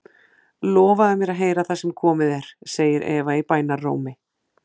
Lofaðu mér að heyra það sem komið er, segir Eva í bænarrómi.